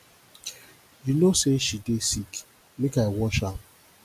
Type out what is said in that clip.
you know say she dey sick make i wash am